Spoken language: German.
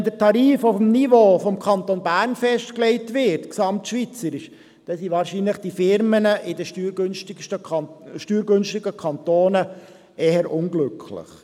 Würde der Tarif gesamtschweizerisch auf dem Niveau des Kantons Bern festgelegt, wären wahrscheinlich die Firmen in den steuergünstigsten Kantonen eher unglücklich.